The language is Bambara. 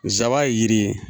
Nsaban ye jiri ye.